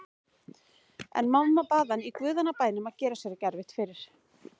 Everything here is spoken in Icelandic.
En mamma bað hann í guðanna bænum að gera sér ekki erfitt fyrir.